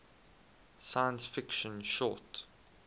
science fiction short